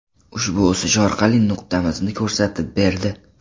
Ushbu o‘sish og‘riqli nuqtamizni ko‘rsatib berdi.